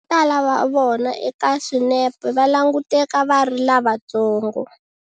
Votala va vona eka swinepe va languteka va ri lavantsongo.